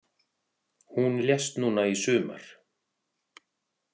Hún lést núna í sumar.